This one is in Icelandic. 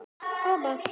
LÁRUS: Hvað gerðu þeir?